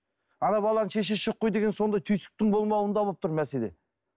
ана баланың шешесі жоқ қой деген сондай түйсіктің болмауында болып тұр мәселе